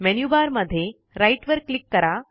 menu bar मध्ये right वर click करा